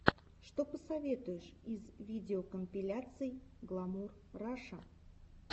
что посоветуешь из видеокомпиляций гламур раша